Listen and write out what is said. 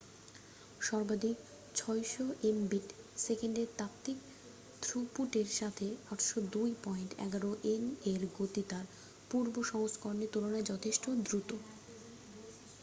সর্বাধিক 600এমবিট / সেকেন্ডের তাত্ত্বিক থ্রুপুটের সাথে 802.11এন এর গতি তার পূর্ব সংস্করণের তুলনায় যথেষ্ট দ্রুত